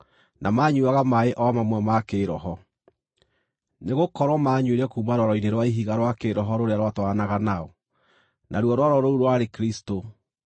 na maanyuuaga maaĩ o mamwe ma kĩĩroho; nĩgũkorwo maanyuire kuuma rwaro-inĩ rwa ihiga rwa kĩĩroho rũrĩa rwatwaranaga nao, naruo rwaro rũu rwarĩ Kristũ.